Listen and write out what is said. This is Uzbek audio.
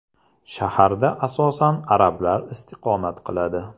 Shaharda asosan arablar istiqomat qiladi.